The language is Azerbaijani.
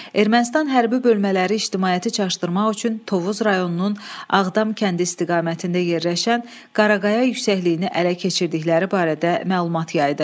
Ermənistan hərbi bölmələri ictimaiyyəti çaşdırmaq üçün Tovuz rayonunun Ağdam kəndi istiqamətində yerləşən Qaraqaya yüksəkliyini ələ keçirdikləri barədə məlumat yaydı.